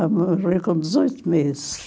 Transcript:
Eu morri com dezoito meses.